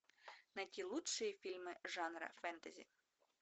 найти лучшие фильмы жанра фэнтези